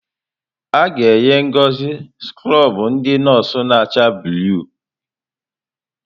A ga-enye Ngozi skrọbụ ndị nọọsụ na-acha blụu?